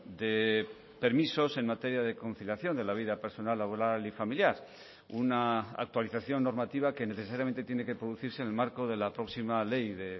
de permisos en materia de conciliación de la vida personal laboral y familiar una actualización normativa que necesariamente tiene que producirse en el marco de la próxima ley de